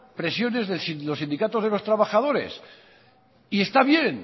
presiones de los sindicatos de los trabajadores y está bien